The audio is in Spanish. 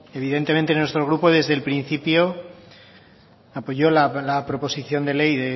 evidentemente nuestro grupo desde el principio apoyó la proposición de ley